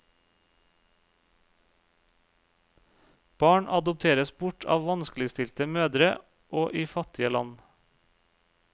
Barn adopteres bort av vanskeligstilte mødre og i fattige land.